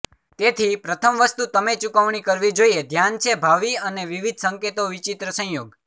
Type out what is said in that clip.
તેથી પ્રથમ વસ્તુ તમે ચૂકવણી કરવી જોઇએ ધ્યાન છે ભાવિ અને વિવિધ સંકેતો વિચિત્ર સંયોગ